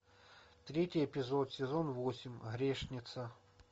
третий эпизод сезон восемь грешница